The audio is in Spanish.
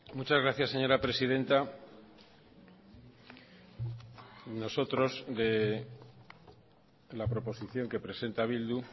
muchas gracias señora presidenta nosotros de la proposición que presenta bildu